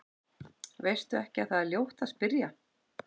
Veistu ekki að það er ljótt að spyrja?